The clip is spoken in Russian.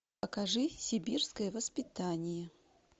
покажи сибирское воспитание